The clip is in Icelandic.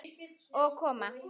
Og koma